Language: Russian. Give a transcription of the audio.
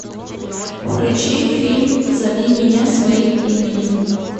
включи фильм зови меня своим именем